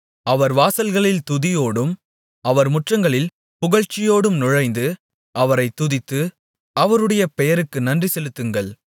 அவர் வாசல்களில் துதியோடும் அவர் முற்றங்களில் புகழ்ச்சியோடும் நுழைந்து அவரைத் துதித்து அவருடைய பெயருக்கு நன்றிசெலுத்துங்கள்